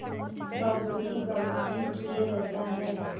बाबू जी बाबू जी किए रहता है